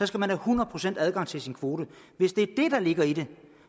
skal man have hundrede procent adgang til sin kvote hvis det er det der ligger i det